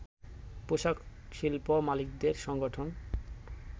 পোশাক শিল্প মালিকদের সংগঠন